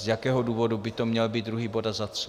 Z jakého důvodu by to měl být druhý bod a za co?